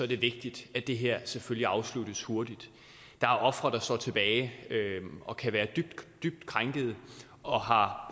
det vigtigt at det her selvfølgelig afsluttes hurtigt der er ofre der står tilbage og kan være dybt dybt krænkede og har